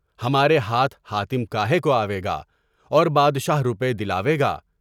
ہمارے ہاتھ حاتم کا ہے؟ کوئی آوے گا اور بادشاہ روپے دلاوے گا؟